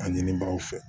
A ɲinibagaw fɛ